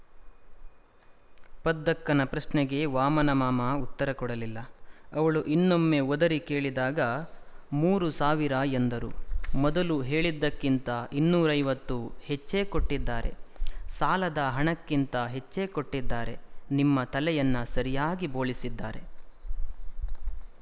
ಪದ್ದಕ್ಕನ ಪ್ರಶ್ನೆಗೆ ವಾಮನಮಾಮ ಉತ್ತರ ಕೊಡಲಿಲ್ಲ ಅವಳು ಇನ್ನೊಮ್ಮೆ ಒದರಿ ಕೇಳಿದಾಗ ಮೂರು ಸಾವಿರ ಎಂದರು ಮೊದಲು ಹೇಳಿದ್ದಕ್ಕಿಂತ ಇನ್ನೂರೈವತ್ತು ಹೆಚ್ಚೇ ಕೊಟ್ಟಿದ್ದಾರೆ ಸಾಲದ ಹಣಕ್ಕಿಂತ ಹೆಚ್ಚೇ ಕೊಟ್ಟಿದ್ದಾರೆ ನಿಮ್ಮ ತಲೆಯನ್ನು ಸರಿಯಾಗಿ ಬೋಳಿಸಿದ್ದಾರೆ